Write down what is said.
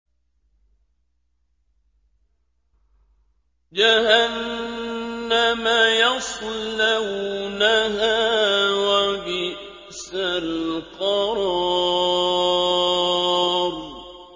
جَهَنَّمَ يَصْلَوْنَهَا ۖ وَبِئْسَ الْقَرَارُ